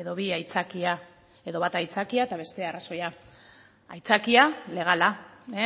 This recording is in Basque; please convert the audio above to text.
edo bi aitzakia edo bat aitzakia eta bestea arrazoia aitzakia legala